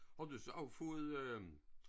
Har du så også fået øh